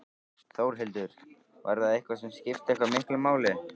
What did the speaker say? Þórhildur: Var það eitthvað sem skipti eitthvað miklu máli?